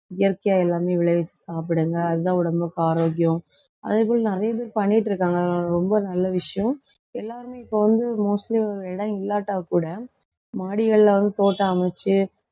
இயற்கையா எல்லாமே விளைவிச்சு சாப்பிடுங்க அதுதான் உடம்புக்கு ஆரோக்கியம் அதே போல் நிறைய பேர் பண்ணிட்டு இருக்காங்க. ரொம்ப நல்ல விஷயம் எல்லாருமே இப்ப வந்து mostly ஓர் இடம் இல்லாட்டா கூட மாடிகள்ல வந்து தோட்டம் அமைச்சு